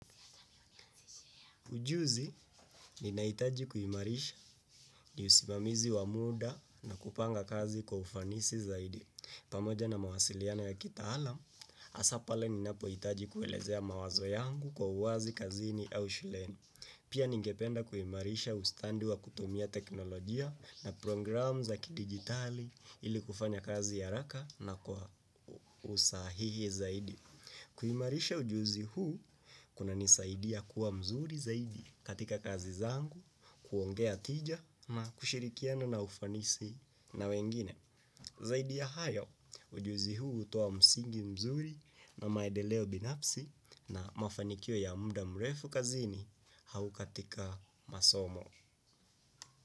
Ujuzi ninahitaji kuimarisha ni usimamizi wa muda na kupanga kazi kwa ufanisi zaidi. Pamoja na mawasiliano ya kitaalam, hasa pale ni napo hitaji kuelezea mawazo yangu kwa uwazi kazini au shuleni. Pia ningependa kuimarisha ustadi wa kutumia teknologia na programu za kidigitali ili kufanya kazi haraka na kwa usahihi zaidi. Kuimarisha ujuzi huu unanisaidia kuwa mzuri zaidi katika kazi zangu, kuongea hoja na kushirikiana kwa ufanisi na wengine. Zaidi ya hayo ujuzi huu hutoa msingi mzuri na maendeleo binafsi na mafanikio ya muda mrefu kazini au katika masomo.